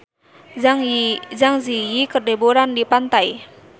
Zang Zi Yi keur liburan di pantai